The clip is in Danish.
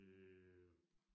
Øh